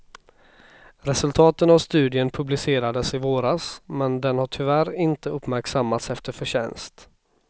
Resultaten av studien publicerades i våras, men den har tyvärr inte uppmärksammats efter förtjänst.